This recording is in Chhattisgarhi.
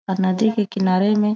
और नदी के किनारे में--